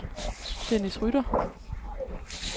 Dennis Rytter